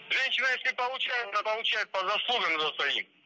жещина если получает то получает по заслугам